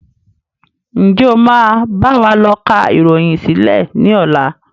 Ǹjẹ́ o máa báwa lọ ká ìròyìn sílẹ̀ ni ọ̀la?